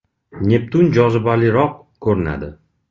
Neptun jozibaliroq ko‘rinadi.